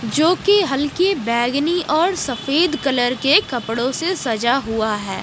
जो कि हल्की बैंगनी और सफेद कलर के कपड़ों से सजा हुआ है।